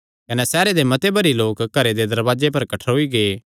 कने सैहरे दे मते भरी लोक घरे दे दरवाजे पर कठ्ठरोई गै